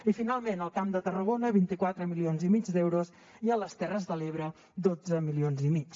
i finalment al camp de tarragona vint quatre milions i mig d’euros i a les terres de l’ebre dotze milions i mig